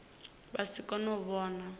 vha si kone u vhona